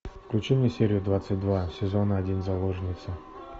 включи мне серию двадцать два сезон один заложница